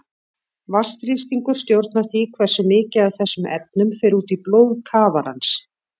Vatnsþrýstingur stjórnar því hversu mikið af þessum efnum fer út í blóð kafarans.